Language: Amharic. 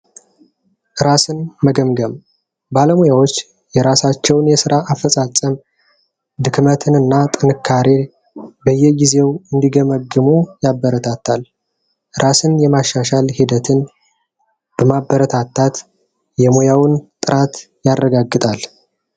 እራስን መገምገም ባለሙያዎች የራሳቸውን የስራ አፈጻጸም ድክመትንና ጥንካሬ በየጊዜው ያበረታታል ራስን የማሻሻል ሂደቱን አበረታታት የሙያውን ጥራት ያረጋግጣል።